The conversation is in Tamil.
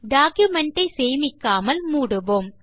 டாக்குமென்ட் ஐ சேமிக்காமல் மூடுவோம்